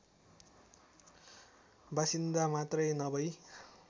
बासिन्दा मात्रै नभई